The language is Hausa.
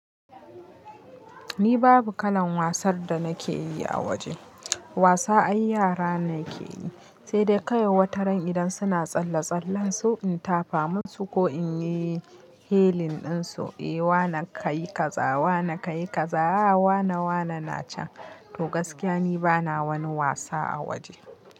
Ni babu kalan wasar da nake yi a waje. Wasa ai yara ne ke yi, sai dai kaiwai wataran idan suna tsalle-tsallen su in tafa musu ko in yi helling ɗinsu. Eh, wana ka yi kaza, wana ka yi kaza, wana wana na can. To gaskiya ni bana wani wasa a waje.